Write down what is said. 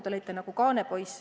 Te olite nagu kaanepoiss.